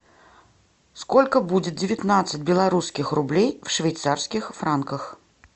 сколько будет девятнадцать белорусских рублей в швейцарских франках